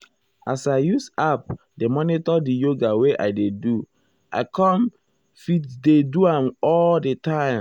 as i use app dey monitor di yoga wey i dey do i com me fit dey do am all the time.